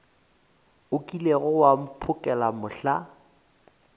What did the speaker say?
o kilego wa mphokela mohla